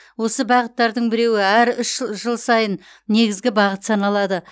осы бағыттардың біреуі әр үш жыл сайын негізгі бағыт саналады